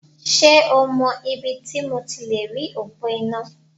Ṣé o mọ ibi ti mo ti lèrí òpó iná?